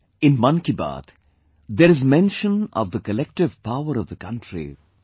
In 'Mann Ki Baat', there is mention of the collective power of the country;